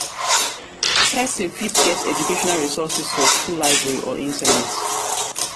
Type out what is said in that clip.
persin fit get educational resources for school library or internet